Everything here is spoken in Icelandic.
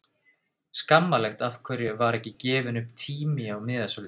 Skammarlegt Af hverju var ekki gefinn upp tími á miðasölunni?